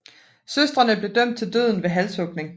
Søstrene blev dømt til døden ved halshugning